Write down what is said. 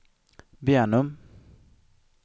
Bjärnum